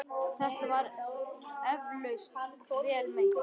Þetta var eflaust vel meint.